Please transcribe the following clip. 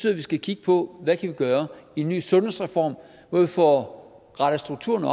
at vi skal kigge på hvad vi kan gøre en ny sundhedsreform hvor vi får rettet strukturerne